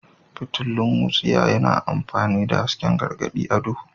Fitilun wutsiya yana aikin hasken gargadi a duhu.